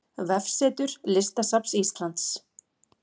Vefsetur Listasafns Íslands